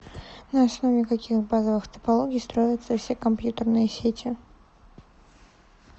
на основе каких базовых топологий строятся все компьютерные сети